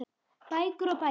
Bækur og bækur.